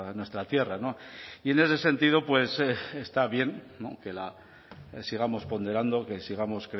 en nuestra tierra y en ese sentido pues está bien que la sigamos ponderando que sigamos